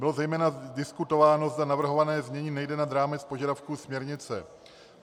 Bylo zejména diskutováno, zda navrhované znění nejde nad rámec požadavků směrnice.